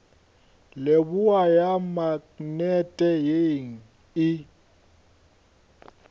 leboa ya maknete ye e